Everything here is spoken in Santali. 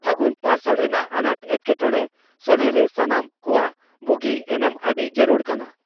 ᱯᱷᱟᱹᱜᱩᱱ ᱯᱟᱨᱥᱟᱞ ᱨᱮᱱᱟᱜ ᱟᱱᱟᱴ ᱮᱴᱠᱮᱴᱚᱬᱮ ᱥᱚᱞᱦᱮᱨᱮ ᱥᱟᱱᱟᱢ ᱠᱚᱣᱟᱜ ᱵᱩᱜᱤ ᱮᱱᱮᱢ ᱟᱹᱰᱤ ᱡᱟᱹᱨᱩᱲ ᱠᱟᱱᱟ ᱾